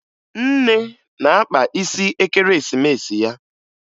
Nne na-akpa isi Ekeresimesi ya